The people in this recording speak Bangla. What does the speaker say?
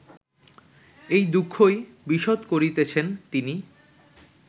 এই দুঃখই বিশদ করিতেছেন তিনি